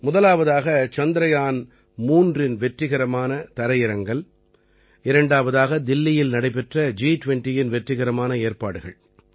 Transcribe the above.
முதலாவதாக சந்திரயான் 3இன் வெற்றிகரமான தரையிறங்கல் இரண்டாவதாக தில்லியில் நடைபெற்ற ஜி20இன் வெற்றிகரமான ஏற்பாடுகள்